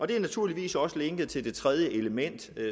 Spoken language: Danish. det er naturligvis også linket til det tredje element